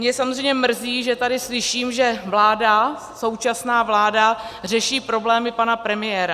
Mě samozřejmě mrzí, že tady slyším, že vláda, současná vláda řeší problémy pana premiéra.